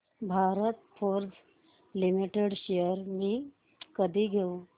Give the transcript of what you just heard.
Bharat Forge Limited shares मी कधी घेऊ